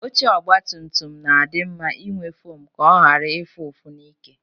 Oche ogbatumtum na-adị mma inwe fom ka ọ ghara ịfụ ụfụ n'ike.